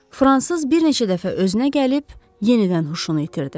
Fransız bir neçə dəfə özünə gəlib, yenidən huşunu itirdi.